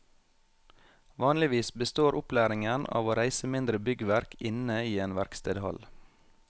Vanligvis består opplæringen av å reise mindre byggverk inne i en verkstedhall.